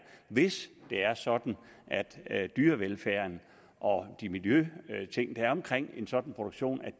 hvis det er sådan at dyrevelfærden og de miljømæssige ting der er omkring en sådan produktion